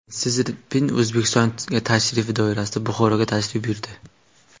Si Szinpin O‘zbekistonga safari doirasida Buxoroga tashrif buyurdi.